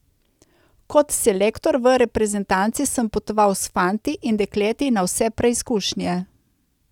Kot selektor v reprezentanci sem potoval s fanti in dekleti na vse preizkušnje.